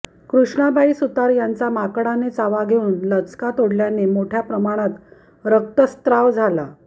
कृष्णाबाई सुतार यांचा माकडाने चावा घेऊन लचका तोडल्याने मोठ्या प्रमाणात रक्तस्राव झाला